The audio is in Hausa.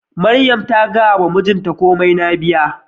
Mariam ta gaya wa mijinta komai na baya